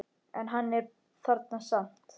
En hún er þarna samt.